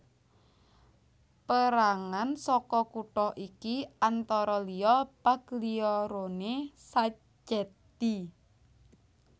Pérangan saka kutha iki antara liya Pagliarone Sacchetti